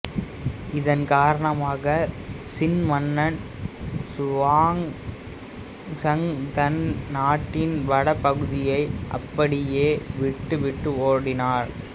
இதன் காரணமாக சின் மன்னன் சுவாங்சாங் தன் நாட்டின் வட பகுதியை அப்படியே விட்டுவிட்டு ஓடினார்